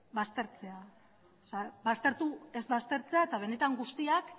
baztertzea ez baztertzea eta benetan guztiak